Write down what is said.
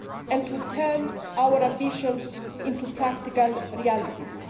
and to turn our ambitions into practical realities.